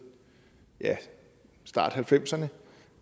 ja starten